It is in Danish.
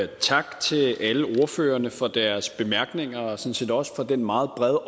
tak til alle ordførerne for deres bemærkninger og sådan set også for den meget brede